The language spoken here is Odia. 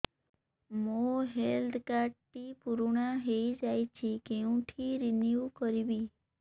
ମୋ ହେଲ୍ଥ କାର୍ଡ ଟି ପୁରୁଣା ହେଇଯାଇଛି କେଉଁଠି ରିନିଉ କରିବି